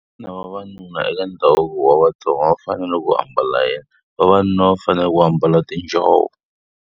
Na vavanuna eka ndhavuko wa Vatsonga va fanele ku ambala yini? Vavanuna va fanele ku ambala tinjhovo.